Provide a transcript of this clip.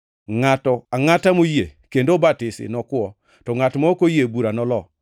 Ngʼato angʼata moyie kendo obatisi nokwo, to ngʼat ma ok oyie bura nolo.